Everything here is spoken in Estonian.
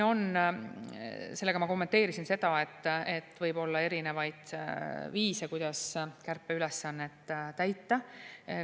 Sellega ma kommenteerisin seda, et võib olla erinevaid viise, kuidas kärpeülesannet täita.